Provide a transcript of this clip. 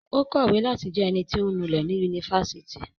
Ó kọ̀wé láti jẹ ẹnití ọ̀ ń nulẹ̀ ní ifásitì